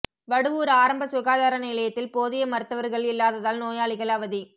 வடுவூர் ஆரம்ப சுகாதார நிலையத்தில் போதிய மருத்துவர்கள் இல்லாததால் நோயாளிகள் அவதி